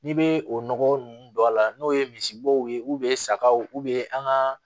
N'i bɛ o nɔgɔ ninnu don a la n'o ye misibow ye sagaw an ka